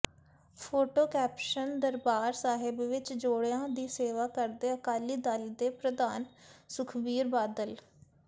photo caption Darbar Sahib ਵਿੱਚ ਜੋੜਿਆਂ ਦੀ ਸੇਵਾ ਕਰਦੇ ਅਕਾਲੀ ਦਲ ਦੇ ਪ੍ਰਧਾਨ ਸੁਖਬੀਰ ਬਾਦਲ